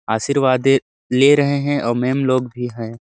आशीर्वाद ले रहे हैं और मैम हम लोग भी है।